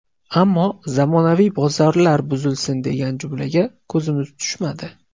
Ammo zamonaviy bozorlar buzilsin degan jumlaga ko‘zimiz tushmadi.